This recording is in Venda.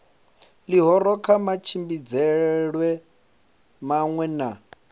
ḽihoro kha matshimbidzelwe maṅwe na